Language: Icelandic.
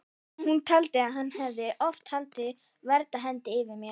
Hún taldi að hann hefði oft haldið verndarhendi yfir mér.